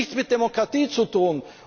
Das hat nichts mit Demokratie zu tun.